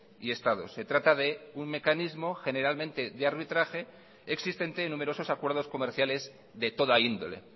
y estados se trata de un mecanismo generalmente de arbitraje existente en numerosos acuerdos comerciales de toda índole